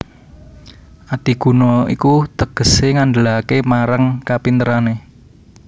Adiguna iku tegesé ngandelaké marang kapinterané